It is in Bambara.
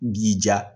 B'i ja